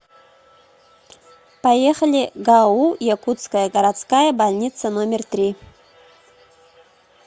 поехали гау якутская городская больница номер три